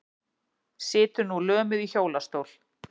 Situr nú lömuð í hjólastól.